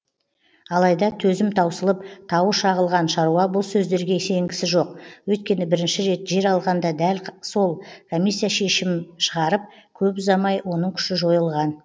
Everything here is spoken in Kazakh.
алайда төзім таусылып тауы шағылған шаруа бұл сөздерге сенгісі жоқ өйткені бірінші рет жер алғанда дәл сол комиссия шешім шығарып көп ұзамай оның күші жойылған